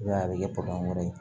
I b'a ye a bɛ kɛ wɛrɛ ye